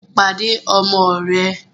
Pàdé ọmọ rẹ̀!